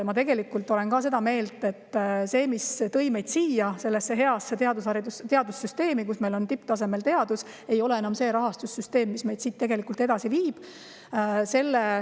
Ma tegelikult olen seda meelt, et see rahastussüsteem, mis tõi meid sellesse heasse teadussüsteemi, kus meil on tipptasemel teadus, ei ole enam see, mis meid siit edasi viib.